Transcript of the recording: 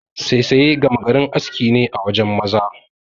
Saisaye gama garin aski ne a wajen maza.